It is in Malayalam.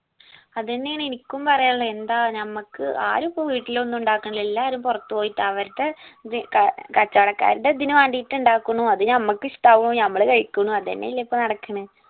അതന്നെ ആണ് എനിക്കും പറയാനിള്ളത് എന്താ നമ്മക്ക് ആരും ഇപ്പൊ വീട്ടിലൊന്നും ഉണ്ടാക്കാണില്ല എല്ലാരും പൊറത്ത് പോയിട്ട അവരടെ ഇത് ഏർ കച്ചോടക്കാരുടെ ഇതിനു വേണ്ടിയിട്ടിണ്ടാക്കണൂ അത് നമ്മക്ക് ഇഷ്ട്ടവുന്നു നമ്മള് കഴിക്കണു അതെന്നെ അല്ലെ ഇപ്പോ നടക്കിണ്